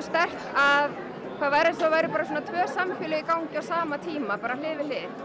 sterkt að það væru það væru svona tvö samfélög í gangi á sama tíma hlið við hlið